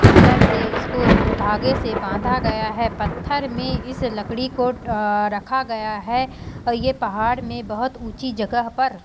colour से स्कोर धागे से बांधा गया है पत्थर में इस लकड़ी को अ-रखा गया है और ये पहाड़ में बहोत ऊँची जगह पर--